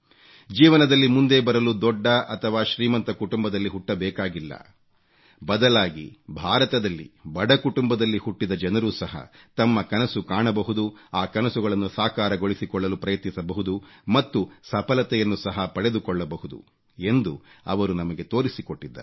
ಜೀವನದಲ್ಲಿ ಮುಂದೆ ಬರಲು ದೊಡ್ಡ ಅಥವಾ ಶ್ರೀಮಂತ ಕುಟುಂಬದಲ್ಲಿ ಹುಟ್ಟಬೇಕಾಗಿಲ್ಲ ಬದಲಾಗಿ ಭಾರತದಲ್ಲಿ ಬಡ ಕುಟುಂಬದಲ್ಲಿ ಹುಟ್ಟಿದ ಜನರು ಸಹ ತಮ್ಮ ಕನಸು ಕಾಣಬಹುದು ಆ ಕನಸುಗಳನ್ನು ಸಾಕಾರಗೊಳಿಸಿಕೊಳ್ಳಲು ಪ್ರಯತ್ನಿಸಬಹುದು ಮತ್ತು ಸಫಲತೆಯನ್ನು ಸಹ ಪಡೆದುಕೊಳ್ಳಬಹುದು ಎಂದು ಅವರು ನಮಗೆ ತೋರಿಸಿಕೊಟ್ಟಿದ್ದಾರೆ